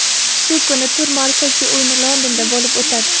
Shu kuni tur markaziy o‘yini Londonda bo‘lib o‘tadi.